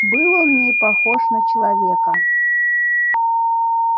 был он не похож на человека